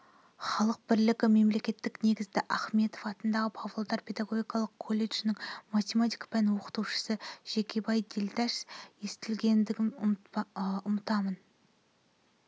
халық бірлігі мемлекеттілік негізі ахметов атындағы павлодар педагогикалық колледжісінің математика пәні оқытушысы жекебай дилдаш естігенімді ұмытамын